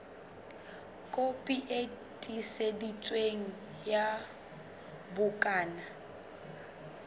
kopi e tiiseditsweng ya bukana